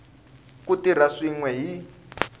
ku tirha swin we hi